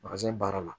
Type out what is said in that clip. baara la